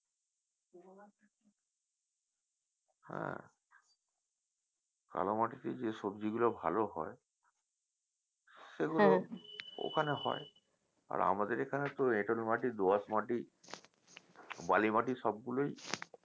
কালো মাটিতে যে সবজিগুলো ভালো হয় সেগুলো ওখানে হয় আর আমাদের এখানে তো এঁটেল মাটি দো আঁশ মাটি বালি মাটি সবগুলোই